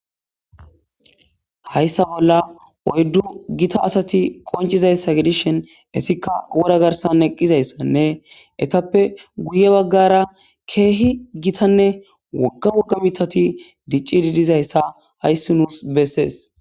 hayssa bolla oyddu gita asati qoncizayssa gidishen esikka wora garsan eqqizayssanne etappe guye baggara keehi gitanne wogga woga mitati dicci didizayssa hayssi nuus bessees